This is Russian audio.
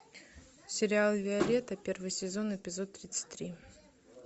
сериал виолетта первый сезон эпизод тридцать три